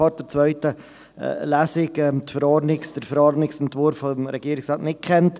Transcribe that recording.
Vor der zweiten Lesung kannten wir den Verordnungsentwurf des Regierungsrates natürlich nicht.